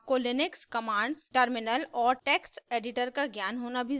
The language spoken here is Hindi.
आपको लिनक्स कमांड्स टर्मिनल और टेक्स्टएडिटर का ज्ञान होना भी ज़रूरी है